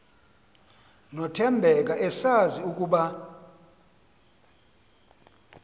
nothembeka esazi ukuba